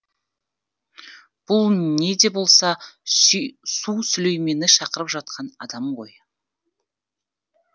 бұл не де болса су сүлеймені шақырып жатқан адам ғой